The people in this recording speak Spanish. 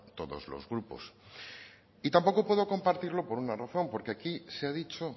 todos los grupos y tampoco puedo compartirlo por una razón porque aquí se ha dicho